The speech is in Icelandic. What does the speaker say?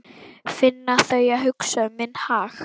Finn að þau hugsa um minn hag.